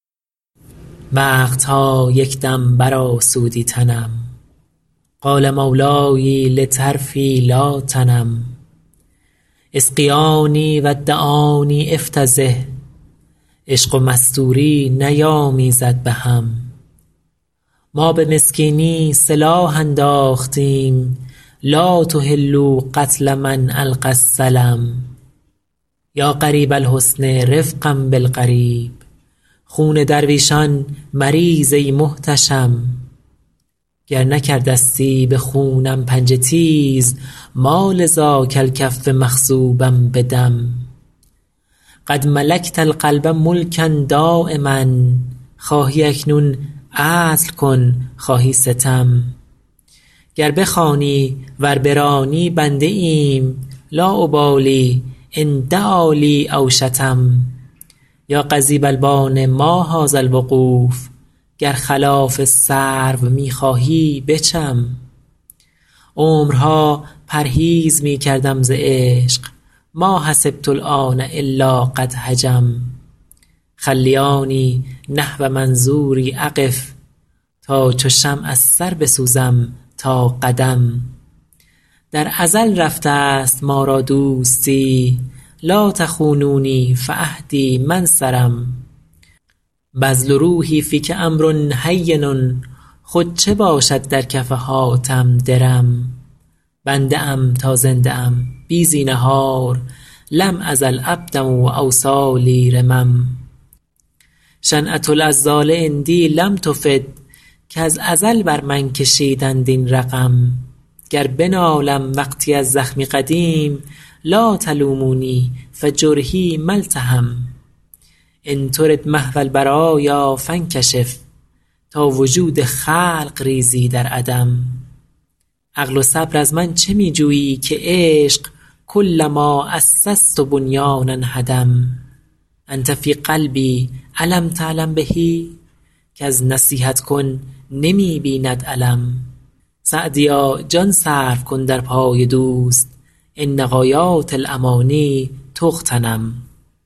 وقت ها یک دم برآسودی تنم قال مولای لطرفی لا تنم اسقیاني و دعاني أفتضح عشق و مستوری نیامیزد به هم ما به مسکینی سلاح انداختیم لا تحلوا قتل من ألقی السلم یا غریب الحسن رفقا بالغریب خون درویشان مریز ای محتشم گر نکرده ستی به خونم پنجه تیز ما لذاک الکف مخضوبا بدم قد ملکت القلب ملکا دایما خواهی اکنون عدل کن خواهی ستم گر بخوانی ور برانی بنده ایم لا أبالي إن دعا لی أو شتم یا قضیب البان ما هذا الوقوف گر خلاف سرو می خواهی بچم عمرها پرهیز می کردم ز عشق ما حسبت الآن إلا قد هجم خلیاني نحو منظوري أقف تا چو شمع از سر بسوزم تا قدم در ازل رفته ست ما را دوستی لا تخونونی فعهدی ما انصرم بذل روحي فیک أمر هین خود چه باشد در کف حاتم درم بنده ام تا زنده ام بی زینهار لم أزل عبدا و أوصالي رمم شنعة العذال عندي لم تفد کز ازل بر من کشیدند این رقم گر بنالم وقتی از زخمی قدیم لا تلوموني فجرحي ما التحم إن ترد محو البرایا فانکشف تا وجود خلق ریزی در عدم عقل و صبر از من چه می جویی که عشق کلما أسست بنیانا هدم أنت في قلبي أ لم تعلم به کز نصیحت کن نمی بیند الم سعدیا جان صرف کن در پای دوست إن غایات الأماني تغتنم